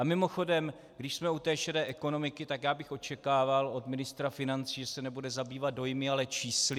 A mimochodem, když jsme u té šedé ekonomiky, tak já bych očekával od ministra financí, že se nebude zabývat dojmy, ale čísly.